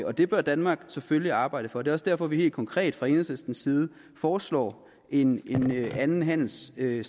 og det bør danmark selvfølgelig arbejde for det er også derfor vi helt konkret fra enhedslistens side foreslår en anden handelsstrategi